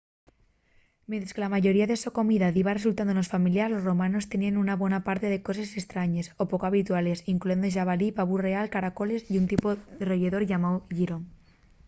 mientres que la mayoría de la so comida diba resultanos familiar los romanos teníen una bona parte de coses estrañes o poco habituales incluyendo xabalí pavu real caracoles y un tipu de royedor llamáu llirón